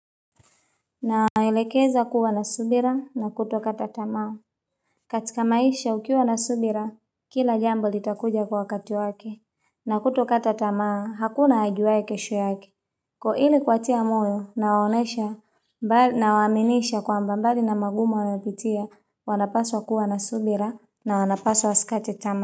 Na waelekeza kuwa na subira na kuto kata tamaa katika maisha ukiwa na subira, kila jambo litakuja kwa wakati wake na kuto kata tamao, hakuna hajuwae kesho yake Kwa hili kuwatia moyo, nawaonesha nawaaminisha kwamba mbali na magumu wanayopitia, wanapaswa kuwa na subira na wanapaswa wasikate tamaa.